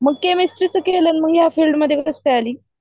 केमेस्ट्रीच केली आणि या फिल्ड मध्ये कास काय आली.